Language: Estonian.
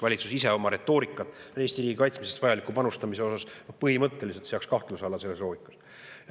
Valitsus ise oma retoorikas seaks Eesti riigi kaitsmisesse vajaliku panustamise põhimõtteliselt kahtluse alla selles loogikas.